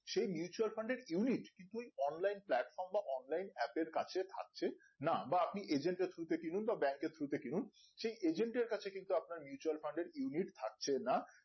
সেই mutual fund এর unit কিন্তু online platform বা online app এর কাছে থাকছে না বা আপনি agent এর through তে কিনুন বা bank এর through তে কিনুন সেই agent এর কাছে কিন্তু আপনার Mutual Fund এর unit থাকছে না